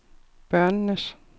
børnenes